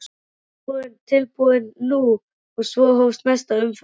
Viðbúinn, tilbúinn- nú! og svo hófst næsta umferð.